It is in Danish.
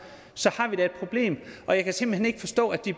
så har vi da et problem jeg kan simpelt hen ikke forstå at de